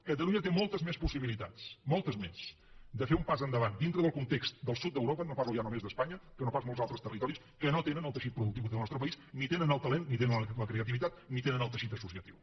catalunya té moltes més possibilitats moltes més de fer un pas endavant dintre del context del sud d’europa no parlo ja només d’espanya que no pas molts altres territoris que no tenen el teixit productiu que té el nostre país ni tenen el talent ni tenen la creativitat ni tenen el teixit associatiu